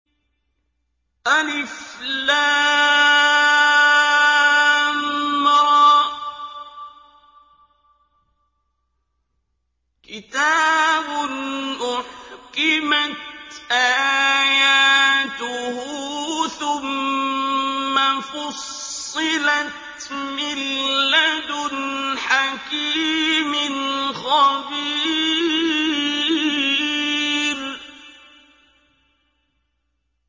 الر ۚ كِتَابٌ أُحْكِمَتْ آيَاتُهُ ثُمَّ فُصِّلَتْ مِن لَّدُنْ حَكِيمٍ خَبِيرٍ